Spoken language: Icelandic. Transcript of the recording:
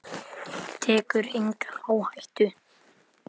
Tekur enga áhættu.